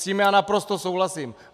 S tím já naprosto souhlasím.